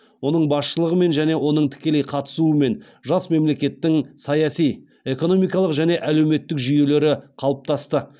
оның басшылығымен және оның тікелей қатысуымен жас мемлекеттің саяси экономикалық және әлеуметтік жүйелері қалыптасты